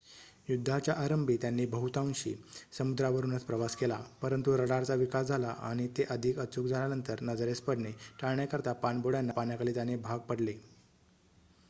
युद्धाच्या आरंभी त्यांनी बहुतांशी समुद्रावरुनच प्रवास केला परंतु रडारचा विकास झाला आणि ते अधिक अचूक झाल्यानंतर नजरेस पडणे टाळण्याकरिता पाणबुड्यांना पाण्याखाली जाणे भाग पडले